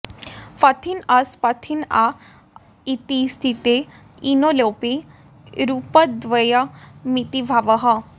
पथिन् अस् पथिन् आ इति स्थिते इनो लोपे रूपद्वयमिति भावः